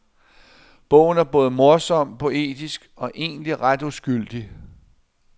Bogen er både morsom, poetisk og egentlig ret uskyldig.